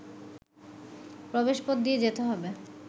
প্রবেশপথ দিয়ে যেতে হবে